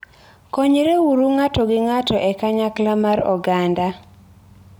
Konyreuru ng'ato gi ng'ato e kanyakla mar oganda.